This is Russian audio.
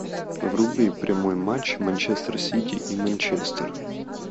вруби прямой матч манчестер сити и манчестер